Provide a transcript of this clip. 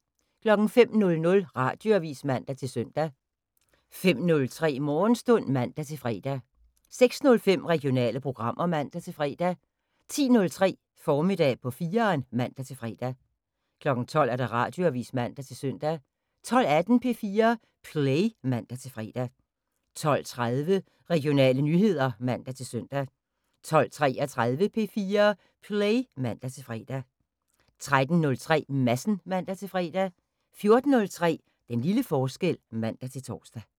05:00: Radioavis (man-søn) 05:03: Morgenstund (man-fre) 06:05: Regionale programmer (man-fre) 10:03: Formiddag på 4'eren (man-fre) 12:00: Radioavis (man-søn) 12:18: P4 Play (man-fre) 12:30: Regionale nyheder (man-søn) 12:33: P4 Play (man-fre) 13:03: Madsen (man-fre) 14:03: Den lille forskel (man-tor)